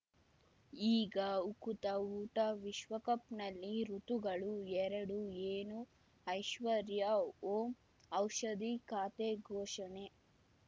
ಈಗ ಉಕುತ ಊಟ ವಿಶ್ವಕಪ್‌ನಲ್ಲಿ ಋತುಗಳು ಎರಡು ಏನು ಐಶ್ವರ್ಯಾ ಓಂ ಔಷಧಿ ಖಾತೆ ಘೋಷಣೆ